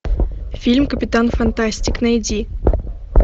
фильм капитан фантастик найди